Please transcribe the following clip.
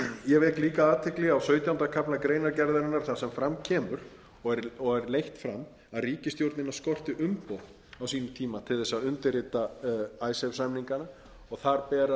ég vek líka athygli á sautjánda kafla greinargerðarinnar þar sem fram kemur og er leitt fram að ríkisstjórnina skorti umboð á sínum tíma til þess að undirrita icesave samningana